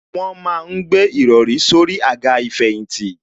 Wọ́n ma ń gbé ìrọrí sórí àga ìfẹ̀yìntì